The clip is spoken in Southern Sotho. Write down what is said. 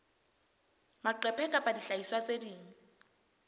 maqephe kapa dihlahiswa tse ding